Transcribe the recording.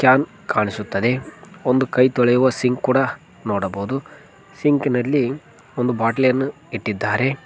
Can ಕಾಣಿಸುತ್ತದೆ ಒಂದು ಕೈ ತೊಳೆಯುವ ಸಿಂಕ್ ಕೂಡ ನೋಡಬಹುದು ಸಿಂಕ್ ನಲ್ಲಿ ಒಂದು ಬಾಟಲಿ ಯನ್ನು ಇಟ್ಟಿದ್ದಾರೆ.